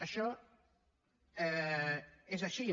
això és així